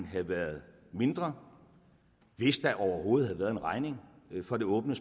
have været mindre hvis der overhovedet havde været en regning for det åbne